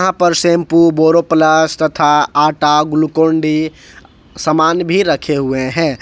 यहां पर शैंपू बोरोप्लस तथा आटा ग्लूकोनडी सामान भी रखे हुए हैं।